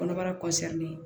Kɔnɔbara